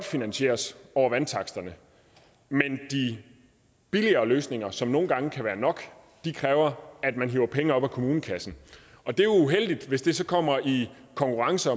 finansieres over vandtaksterne mens de billigere løsninger som nogle gange kan være nok kræver at man hiver penge op af kommunekassen det er uheldigt hvis de så kommer i konkurrence